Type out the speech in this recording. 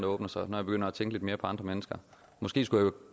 åbner sig når jeg begynder at tænke lidt mere på andre mennesker og måske skulle jeg